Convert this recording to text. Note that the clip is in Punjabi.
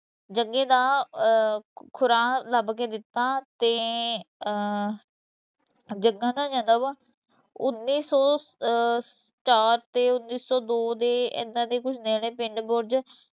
ਜੱਗੇ ਦਾ ਅਹ ਖੁਰਾ ਲੱਭ ਕੇ ਦਿੱਤਾ ਤੇ ਅਹ ਜੱਗੇ ਦਾ ਜਨਮ ਉੱਨੀ ਸੌ ਅਹ ਚਾਰ ਤੇ ਉੱਨੀ ਸੋ ਦੋ ਦੇ ਇਹਨਾਂ ਦੇ ਕੁਛ ਨੇੜੇ ਪਿੰਡ ਬੁਰਜ